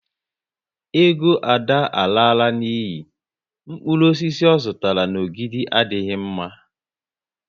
Ego Ada alala n'iyi, mkpụrụ osisi ọ zụtara n'Ogidi adịghị mma